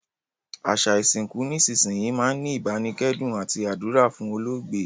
Àsa ìsìnkù nísinsìnyi máa n ni ìbánikẹ́dùn àti àdúrà fún olóògbé